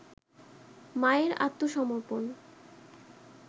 মায়ের আত্মসমর্পণ